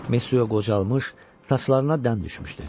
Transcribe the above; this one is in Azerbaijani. Mesua qocalmış, saçlarına dən düşmüşdü.